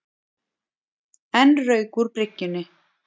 Enn rauk úr bryggjunni